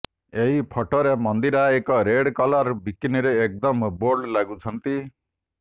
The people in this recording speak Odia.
ଏହି ଫଟୋରେ ମନ୍ଦିରା ଏକ ରେଡ୍ କଲର୍ ବିକିନିରେ ଏକଦମ୍ ବୋଲ୍ଡ ଲାଗୁଛନ୍ତି